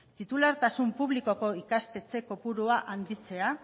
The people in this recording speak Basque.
titulartasun publikoko ikastetxe kopurua handitzea